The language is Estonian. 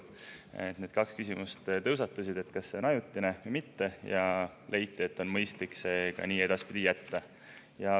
Tõusetusid need kaks küsimust ja kas see on ajutine või mitte, ning leiti, et on mõistlik see ka edaspidi nii jätta.